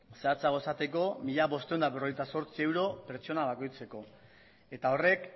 zehatzago esateko mila bostehun eta berrogeita zortzi euro pertsona bakoitzeko eta horrek